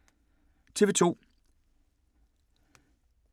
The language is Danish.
TV 2